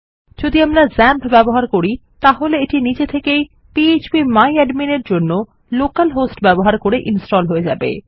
যদি আমরা ক্সাম্প ব্যবহার করি তাহলে এটি নিজে থেকেই পিএচপি মাই অ্যাডমিন এর জন্য লোকাল হোস্ট ব্যবহার করে ইনস্টল হয়ে যাবে